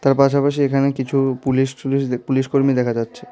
তার পাশাপাশি এখানে কিছু পুলিশ টুলিশ দে পুলিশ কর্মী দেখা যাচ্ছে।